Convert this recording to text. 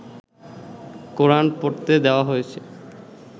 কোরান পড়তে দেওয়া হয়েছে